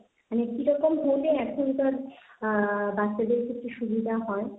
মানে কিরকম হলে এখনকার আ বাচ্চাদের ক্ষেত্রে সুবিধা হয়?